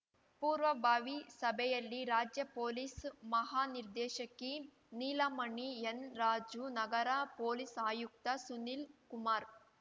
ಪೂರ್ವಭಾವಿ ಸಭೆಯಲ್ಲಿ ರಾಜ್ಯ ಪೊಲೀಸ್‌ ಮಹಾನಿರ್ದೇಶಕಿ ನೀಲಮಣಿ ಎನ್‌ರಾಜು ನಗರ ಪೊಲೀಸ್‌ ಆಯುಕ್ತ ಸುನೀಲ್‌ಕುಮಾರ್‌